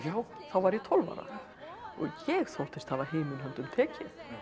þá var ég tólf ára og ég þóttist hafa himinn höndum tekið